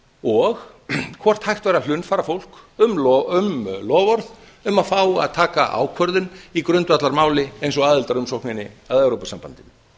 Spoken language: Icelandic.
og hvort hægt væri að hlunnfara fólk um loforð um að fá að taka ákvörðun í grundvallarmáli eins og aðildarumsókninni að evrópusambandinu